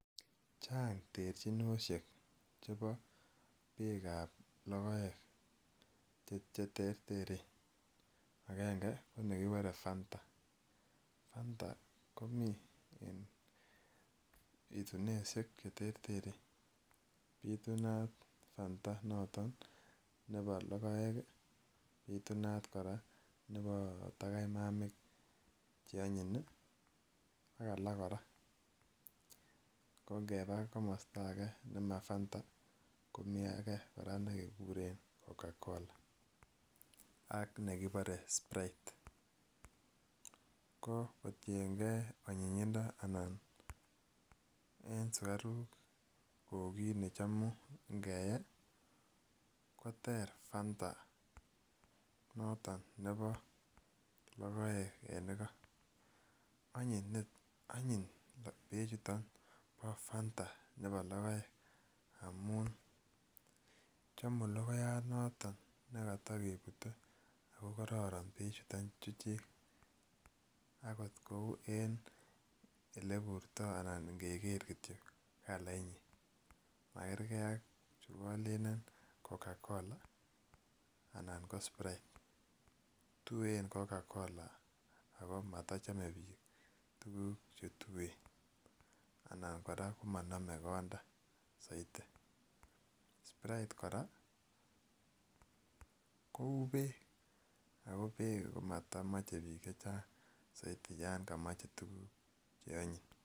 Chang terjinoshek chebo biikab logoek che terteren angenge ko nekibore fanta, fanta komii en pitunoishek che terteren pitunat fanta noton nebo logoek ii pitunat koraa nebo tagaimamik che onyin ii ak alak koraa ko ngebaa komosto age Nemo fanta komii age koraa nekeguren coca cola ak nekibore Sprite ko kotiengee onyinyindo anan en sukaruk kou kit ne chomu ngeyee koter fanta noton nebo logoek en igo onyin bechuton bo fanta nebo logoek amun chomu logoyat noton ne koto kebute ako kororon bechuton chuchik akot kouu en ole burto anan ngeger kityo kalainyin ma gerger ak chu kolelen coca cola anan ko sprite, tuen coca cola ako moto chome biik tuguk che tuen anan koraa komonome konda soiti, Sprite koraa kouu beek ako beek ko motomoche biik chechang soiti yon komoche tuguk che onyin